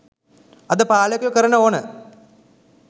අද පාලකයෝ කරන ඕන